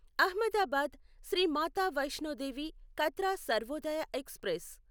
Ahmedabad Shri Mata Vaishno Devi Katra Sarvodaya express